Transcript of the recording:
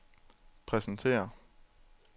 præsentere